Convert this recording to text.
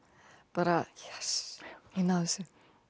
bara Jess ég náði þessu